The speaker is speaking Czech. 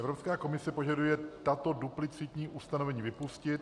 Evropská komise požaduje tato duplicitní ustanovení vypustit.